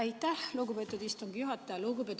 Aitäh, lugupeetud istungi juhataja!